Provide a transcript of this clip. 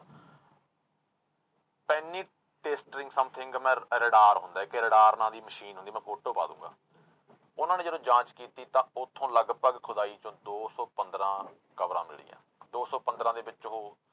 ਪੈਨੀਟਿਸਟਰਿੰਗ something ਮੈਂ radar ਹੁੰਦਾ ਇੱਕ radar ਨਾਂ ਦੀ ਮਸ਼ੀਨ ਹੁੰਦੀ ਮੈਂ photo ਪਾ ਦਊਂਗਾ, ਉਹਨਾਂ ਨੇ ਜਦੋਂ ਜਾਂਚ ਕੀਤੀ ਤਾਂ ਉੱਥੋਂ ਲਗਪਗ ਖੁਦਾਈ ਚੋਂ ਦੋ ਸੌ ਪੰਦਰਾਂ ਕਬਰਾਂ ਮਿਲੀਆਂ, ਦੋ ਸੌ ਪੰਦਰਾਂ ਦੇ ਵਿੱਚ ਉਹ